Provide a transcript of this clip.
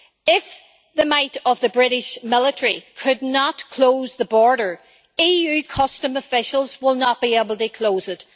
If the might of the British military could not close the border, EU customs officials will not be able to close it